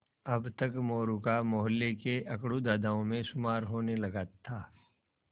अब तक मोरू का मौहल्ले के अकड़ू दादाओं में शुमार होने लगा था